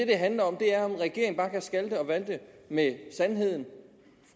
det handler om er om regeringen bare kan skalte og valte med sandheden